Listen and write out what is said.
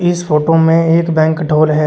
इस फोटो में एक बैंक्वेट हॉल है।